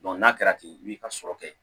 n'a kɛra ten i b'i ka sɔrɔ kɛ